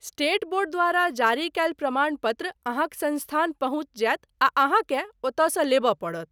State board द्वारा जारी कयल प्रमाण पत्र अहाँक संस्थान पहुँच जायत आ अहाँकेँ ओतऽ सँ लेबऽ पड़त।